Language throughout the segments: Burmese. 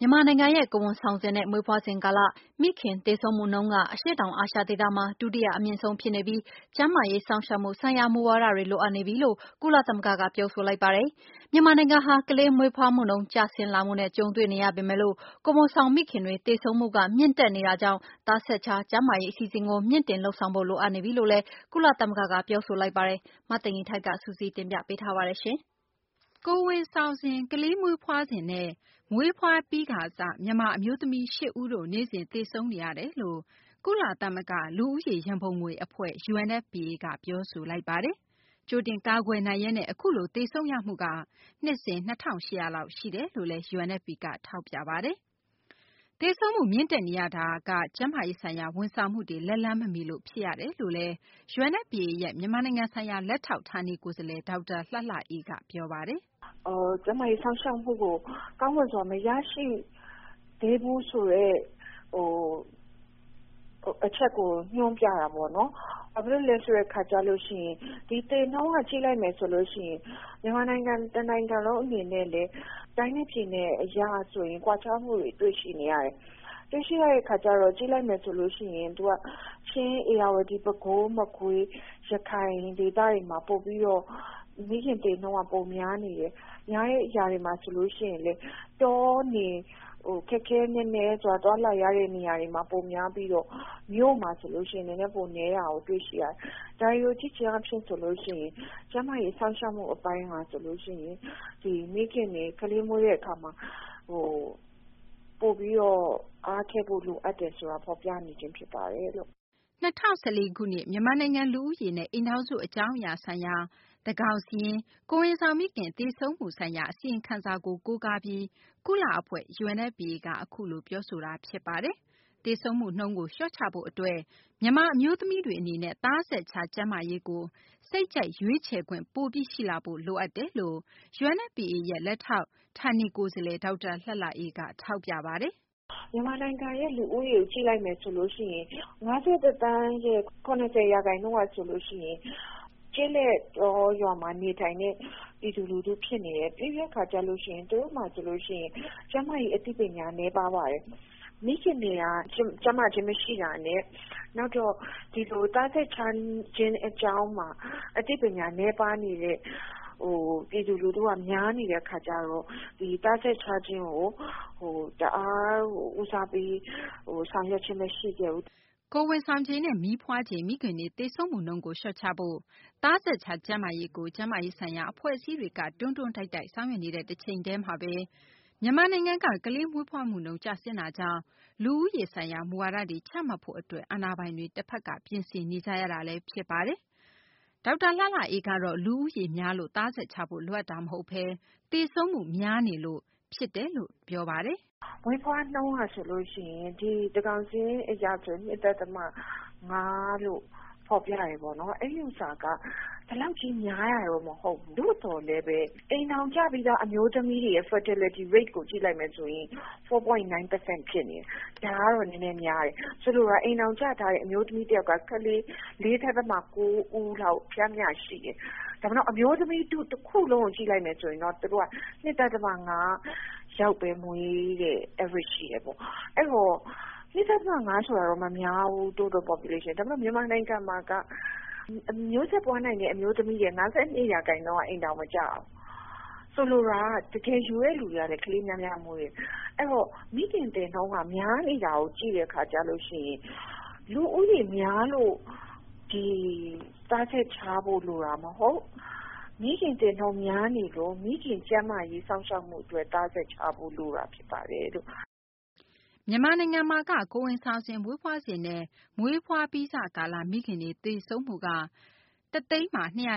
မြန်မာနိုင်ငံရဲ့ ကိုယ်ဝန်ဆောင်စဉ်နဲ့ မွေးဖွားစဉ် ကာလ မိခင် သေဆုံးမှုနှုန်းက အရှေ့တောင် အာရှ ဒေသမှာ ဒုတိယ အမြင့်ဆုံး ဖြစ်နေပြီး ကျန်းမာရေး စောင့်ရှောက်မှု ဆိုင်ရာ မူဝါဒတွေ လိုအပ်နေပြီလို့ ကုလ သမဂ္ဂက ပြောဆိုလိုက်ပါတယ်။ မြန်မာနိုင်ငံဟာ ကလေးမွေးဖွားနှုန်း ကျဆင်းလာမှုနဲ့ ကြုံတွေ့နေရပေမယ့် ကိုယ်ဝန်ဆောင် မိခင်တွေ သေဆုံးမှုက မြင့်တက်နေတာကြောင့် သားဆက်ခြား ကျန်းမာရေး အစီအစဉ်ကို မြှင့်တင်လုပ်ဆောင်ဖို့ လိုအပ်နေပြီလို့လည်း ကုလသမဂ္ဂက ပြောဆိုလိုက်ပါတယ်။ မသိင်္ဂ ီထိုက် စုစည်းတင်ပြပေးမှာပါ။ ကိုယ်ဝန်ဆောင်စဉ်၊ ကလေးမွေးဖွားစဉ်နဲ့ မွေးဖွားပြီးစ မြန်မာ အမျိုးသမီး ၈ ဦးတို့ နေ့စဉ် သေဆုံးနေရတယ်လို့ ကုလ သမဂ္ဂ လူဦးရေ ရန်ပုံငွေ အဖွဲ့ UNFPA က ပြောဆိုလိုက်ပါတယ်။ ကြိုတင် ကာကွယ်နိုင်ရက်နဲ့ အခုလို သေဆုံးနေရမှုက နှစ်စဉ် ၂၈၀၀ လောက် ရှိတယ်လို့လည်း UNFPA က ထောက်ပြပါတယ်။ သေဆုံးမှု မြင့်တက်နေရတာ ကျန်းမာရေးဆိုင်ရာ ဝန်ဆောင်မှုတွေ လက်လှမ်းမမီရလို့ ဖြစ်တယ်လို့ UNFPA ရဲ့ မြန်မာနိုင်ငံဆိုင်ရာ လက်ထောက် ဌာနေ ကိုယ်စားလှယ် ဒေါက်တာ လှလှအေးက အခုလို ပြောပါတယ်။ “ကျန်းမာရေးစောင့်ရှောက်မှုကို ကောင်းမွန်စွာမရရှိသေးဘူးဆိုတဲ့ အချက်ကို ညွှန်းပြတာပေါ့နော်။ ဘာဖြစ်လို့လဲဆိုတော့ ဒီသေနှုန်းက ကြည့်လိုက်မယ်ဆိုရင် မြန်မာနိုင်ငံ တနိုင်ငံလုံးအနေနဲ့လည်း တိုင်းနဲ့ပြည်နယ်အရဆိုရင် ကွာခြားမှုတွေကိုတွေ့ရှိနေရတယ်။ တွေ့ရှိရတဲ့အခါကျတော့ကြည့်လိုက်မယ်ဆိုရင်လည်း ချင်း၊ ဧရာဝတီ ၊ ပဲခူး၊ မကွေး ၊ ရခိုင်ဒေသတွေမှာ ပိုပြီးတော့ မိခင်သေနှုန်းကပိုပြီးတော့ များနေတယ်။ ဒီလိုများတဲ့နေရာတွေမှာဆိုရင်လည်း တော၊ နယ် ခက်ခဲနက်နဲသွားလာရတဲ့နေရာတွေမှာ ပိုများပြီးတော့ မြို့မှာဆိုရင်တော့ နည်းနည်းပိုနည်းတာကို တွေ့ရှိရတယ်။ ဒါတွေကိုကြည့်ချင်းအားဖြင့် ကျန်းမာရေးစောင့်ရှောက်မှုအပိုင်းဟာ မိခင်တွေ ကလေးမွေးတဲ့အခါမှာ ပိုပြီးတော့ အားထည့်ဖို့လိုတယ်ဆိုတာ ဖော်ပြနေပါတယ်။” ၂၀၁၄ ခုနှစ် မြန်မာနိုင်ငံ လူဦးရေနှင့် အိမ်ထောင်စု အကြောင်းအရာ ဆိုင်ရာ သန်းခေါင်စာရင်း - ကိုယ်ဝန်ဆောင်မိခင် သေဆုံးမှုဆိုင်ရာ အစီရင်ခံစာကို ကိုးကားပြီး ကုလ အဖွဲ့ UNFPA က အခုလို ပြောဆိုတာ ဖြစ်ပါတယ်။ သေဆုံးမှု နှုန်းကို လျှော့ချဖို့ အတွက်မြန်မာ အမျိုးသမီးတွေ အနေနဲ့ သားဆက်ခြား ကျန်းမာရေးကို စိတ်ကြိုက် ရွေးချယ်ခွင့်ပိုပြီး ရှိလာဖို့ လိုအပ်တယ်လို့ UNFPA လက်ထောက် ဌာနေ ကိုယ်စားလှယ် ဒေါက်တာ လှလှအေးက ထောက်ပြပါတယ်။ “မြန်မာနိုင်ငံရဲ့လူဦးရေကို ကြည့်လိုက်မယ်ဆိုရင် ၅၁ သန်းရဲ့ ၇၀ ရာခိုင်နှုန်းဟာဆိုရင် ကျေးလက်တောရွာမှာနေထိုင်တဲ့ ပြည်သူလူထုဖြစ်နေတယ်။ ပြီးတဲ့အခါ သူတို့မှာ ကျန်းမာရေးအသိပညာနည်းပါးပါတယ်။ မိခင်တွေက ကျန်းမာခြင်းမရှိတာနဲ့ နောက်သားဆက်ခြားခြင်းအကြောင်းမှာ အသိပညာနည်းပါးနေတဲ့ ပြည်သူလူထုက များနေတဲ့အခါကျတော့ ဒီသားဆက်ခြားခြင်းကိုတအားကို ဦးစားပေးဆောင်ရွက်ခဲ့ခြင်းမရှိခဲ့ဘူး။” ကိုယ်ဝန်ဆောင်ချိန်နဲ့ မီးဖွားချိန် မိခင်တွေ သေဆုံးမှုနှုန်းကို လျှော့ချဖို့ သားဆက်ခြား ကျန်းမာရေးကို ကျန်းမာရေးဆိုင်ရာ အဖွဲ့အစည်းတွေက တွန်းတွန်းတိုက်တိုက် ဆောင်ရွက်နေတဲ့ တချိန်တည်းမှာဘဲ မြန်မာနိုင်ငံက ကလေးမွေးဖွားမှုနှုန်း ကျဆင်းတာကြောင့် လူဦးရေး ဆိုင်ရာ မူဝါဒတွေ ချမှတ်ဖို့ အတွက် အာဏာပိုင်တွေ ပြင်ဆင်နေကြရတာလည်း ဖြစ်ပါတယ်။ ဒေါက်တာ လှလှအေးကတော့ လူဦးရေများလို့ သားဆက်ခြားဖို့ လိုအပ်တာ မဟုတ်ဘဲ သေဆုံးမှု များနေလို့ ဖြစ်တယ်လို့ ထောက်ပြပါတယ်။ “မွေးဖွားနှုန်းကဆိုရင် သန်းခေါင်စာရင်းအရ ၂.၅ လို့ ဖော်ပြတယ်ပေါ့နော် အဲဒီဟာက ဒီလောက်များတာတော့မဟုတ်ဘူး။ သို့သော် အိမ်ထောင်ကျပြီးသားအမျိုးသမီးတွေ fatality rate ကိုကြည့်လိုက်ရင် ၄.၉ ရာခိုင်နှုန်းဖြစ်နေတယ်။ ဒါကတော့ နည်းနည်းများတယ်။ အိမ်ထောင်ကျထားတဲ့ အမျိုးသမီးတယောက်က ကလေး ၄.၉ ဦးလောက် ပျမ်းမျှရှိတယ်။ ဒါပေမယ့် အမျိုးသမီးထုတခုလုံးကို ကြည့်မယ်ဆိုရင် သူတို့က ၂.၅ ယောက်ပဲမွေးတဲ့ average ရှိတယ်ပေါ့။ ဆိုတော့ ၂.၅ ဆိုတာ မများဘူး Total Population မှာ။ ဒါပေမယ့် မြန်မာနိုင်ငံမှာက မျိုးဆက်ပွားနိုင်တဲ့အမျိုးသမီး ၅.၂ ရာခိုင်နှှုန်း က အိမ်ထောင်မကျဘူး။ ဆိုလိုတာက တကယ်ယူတဲ့လူတွေက ကလေးများများမွေးတယ်။ အဲဒီတော့ မိခင်သေနှုန်းက များနေတာကို ကြည့်မယ်ဆိုရင် လူဦးရေများလို့ သားဆက်ခြားဖို့လိုတာမဟုတ်၊ မိခင်သေနှုန်းက များနေလို့ မိခင်ကျန်းမာရေးစောင့်ရှောက်မှုအတွက် သားဆက်ခြားဖို့လိုတာဖြစ်ပါတယ်။” ကိုယ်ဝန်ဆောင်စဉ်၊ မွေးဖွားစဉ်နဲ့ မွေးဖွားပြီးစ ကာလ မိခင်တွေ သေဆုံးမှုနှုန်းက ၁ သိန်းမှာ ၂၈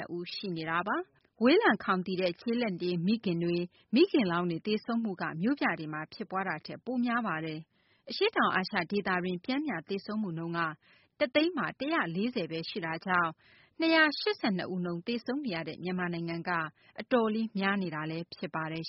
၂ ဦး ရှိနေတာပါ။ ဝေးလံခေါင်သီတဲ့ ကျေလက်နေ မိခင်တွေ မိခင်လောင်းတွေ သေဆုံးမှုက မြို့ပြမှာ ဖြစ်ပွားမှုထက် များပါတယ်။ အရှေ့တောင် အာရှ ဒေသတွင်း ပျမ်းမျှ သေဆုံးမှုနှုန်းက ၁ သိန်းမှာ ၁၄၀ ဘဲ ရှိတာကြောင့် ၂၈၂ ဦးနှုန်း သေဆုံးနေရတဲ့ မြန်မာနိုင်ငံက အတော်လေးများနေတာလည်း ဖြစ်ပါတယ်